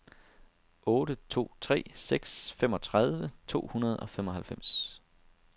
otte to tre seks femogtredive to hundrede og femoghalvfems